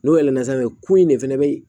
N'o yɛlɛla sanfɛ ko in de fana be